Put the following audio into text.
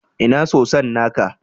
Ina soson naka?